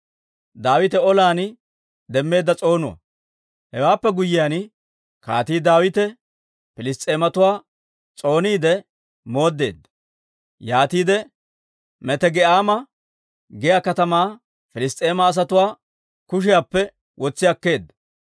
Hewaappe guyyiyaan, Kaatii Daawite Piliss's'eematuwaa s'ooniide mooddeedda; yaatiide Metegi'aama giyaa katamaa Piliss's'eema asatuwaa kushiyaappe wotsi akkeedda.